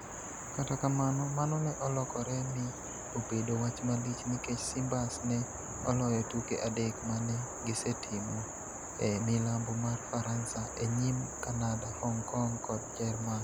Kata kamano, mano ne olokore mi obedo wach malich nikech Simbas ne oloyo tuke adek ma ne gisetimo e milambo mar Faransa e nyim Kanada, Hong Kong kod Jerman.